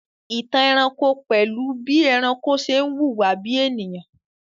Ìtàn ẹranko pẹ̀lú bí ẹranko ṣe ń hùwà bí ènìyàn